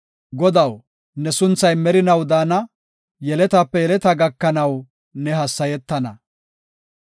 Godaw, ne sunthay merinaw daana; yeletaape yeleta gakanaw ne hassayetana.